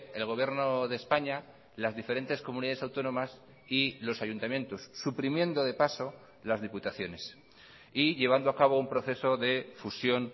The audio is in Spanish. el gobierno de españa las diferentes comunidades autónomas y los ayuntamientos suprimiendo de paso las diputaciones y llevando a cabo un proceso de fusión